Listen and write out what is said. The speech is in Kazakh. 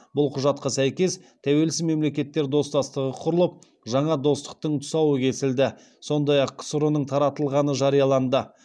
бұл құжатқа сәйкес тәуелсіз мемлекеттер достастығы құрылып жаңа достықтың тұсауы кесілді сондай ақ ксро ның таратылғаны жарияланды